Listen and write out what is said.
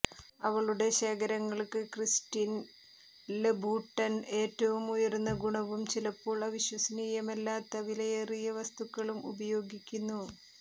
അവളുടെ ശേഖരങ്ങൾക്ക് Christian Louboutin ഏറ്റവും ഉയർന്ന ഗുണവും ചിലപ്പോൾ അവിശ്വസനീയമല്ലാത്ത വിലയേറിയ വസ്തുക്കളും ഉപയോഗിക്കുന്നു